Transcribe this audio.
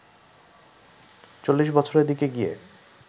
চল্লিশ বছরের দিকে গিয়ে